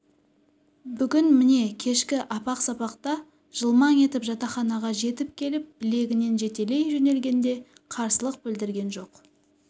бүгін міне кешкі апақ-сапақта жылмаң етіп жатақханаға жетіп келіп білегінен жетелей жөнелгенде қарсылық білдірген жоқ